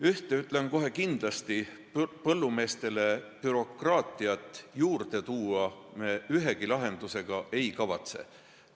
Ühte ütlen kohe kindlasti: põllumeestele bürokraatiat juurde tekitada me ühegi lahendusega ei kavatse.